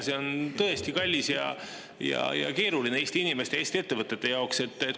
See on tõesti kallis ja Eesti inimestel, Eesti ettevõtetel on keeruline.